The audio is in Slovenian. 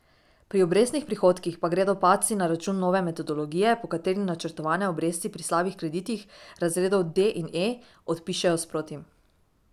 Pri obrestnih prihodkih pa gredo padci na račun nove metodologije, po kateri načrtovane obresti pri slabih kreditih, razredov D in E, odpišejo sproti.